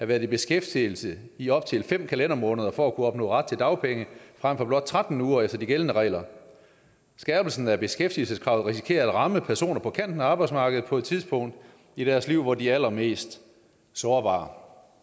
været i beskæftigelse i op til fem kalendermåneder for at kunne opnå ret til dagpenge frem for blot tretten uger efter de gældende regler skærpelsen af beskæftigelseskravet risikerer at ramme personer på kanten af arbejdsmarkedet på et tidspunkt i deres liv hvor de er allermest sårbare